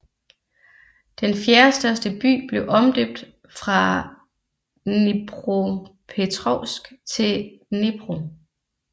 Den fjerdestørste by blev omdøbt fra Dnipropetrovsk til Dnipro